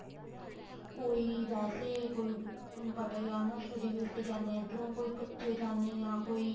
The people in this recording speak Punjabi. ਕੋਈ ਵੈਸੇ ਕੋਈ ਤੁਹਾਨੂੰ ਪਤਾ ਈ ਆ ਨਾ study base ਤੇ ਜਾਨੇ ਆ ਇੱਧਰੋ ਕੋਈ ਕੱਚੇ ਜਾਨੇ ਆ ਕੋਈ